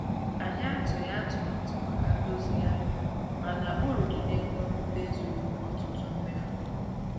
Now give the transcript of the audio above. Anyị atụghị atụmatụ maka ndozigharị, mana uru dị n'ego nrite zuru ọtụtụ mmefu.